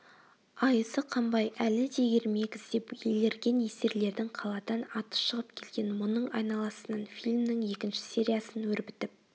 айызы қанбай әлі де ермек іздеп елірген есерлердің қаладан аты шығып келген мұның айналасынан фильмнің екінші сериясын өрбітіп